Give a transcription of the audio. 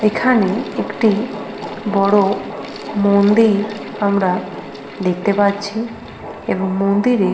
এখানে একটি বড় মন্দির আমরা দেখতে পাচ্ছি এবং মন্দিরে--